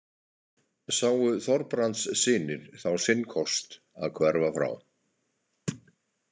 Sáu Þorbrandssynir þá sinn kost að hverfa frá.